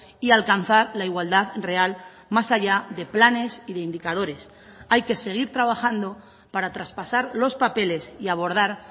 y alcanzar la igualdad real más allá de planes y de indicadores hay que seguir trabajando para traspasar los papeles y abordar